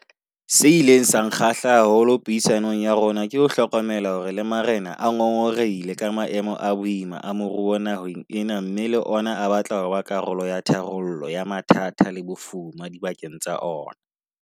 Se ileng sa nkgahla haholo puisanong ya rona ke ho hlokomela hore le marena a ngongorehile ka maemo a boima a moruo naheng ena mme le ona a batla ho ba karolo ya tharollo ya mathata le bofuma dibakeng tsa ona.